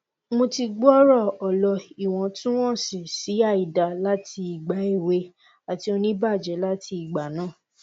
mo ti gbooro ọlọ iwọntunwọnsi si àìdá lati igba ewe ati onibaje lati igba naa